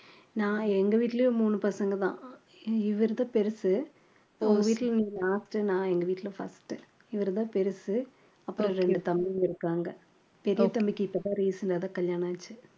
நான் எங்க வீட்டிலேயே மூணு பசங்கதான் இவருதான் பெருசு உங்க வீட்டிலே நீ last நான் எங்க வீட்டில first இவருதான் பெரிசு அப்புறம் இரண்டு தம்பிங்க இருக்காங்க பெரிய தம்பிக்கு இப்பதான் recent ஆ தான் கல்யாணம் ஆச்சு